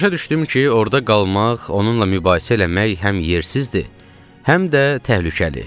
Başa düşdüm ki, orda qalmaq, onunla mübahisə eləmək həm yersizdir, həm də təhlükəli.